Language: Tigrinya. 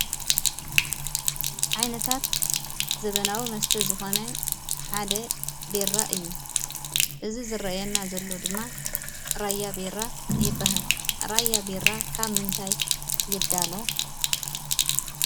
ዓይነታት ዘበናዊ መስተ ዝኾነ ሓደ ቢራ እዩ፡፡ እዚ ዝርአየና ድማ ራያ ቢራ ይበሃል፡፡ ራያ ቢራ ካብ ምንታይ ይዳሎ?